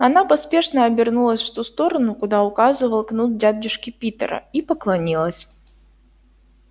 она поспешно обернулась в ту сторону куда указывал кнут дядюшки питера и поклонилась